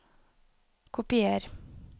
Kopier